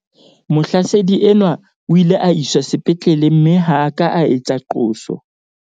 Mohlasedi enwa o ile a iswa sepetlele mme ha a ka a etsa qoso.